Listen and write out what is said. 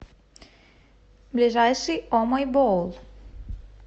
ближайший о мой боул